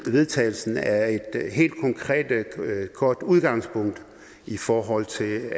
vedtagelse er et godt udgangspunkt i forhold til